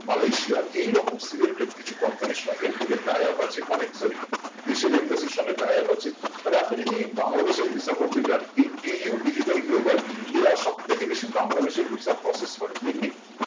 Malaysia এই রকম selected কিছু company র সঙ্গে এদের tie up আছে মানে sorry দেশের embassy সঙ্গে tie up আছে মানে আপনি যদি বাংলাদেশের visa করতে যান এই DU Digital Global এরা সব থেকে বেশি বাংলাদেশে visa process করে তেমনি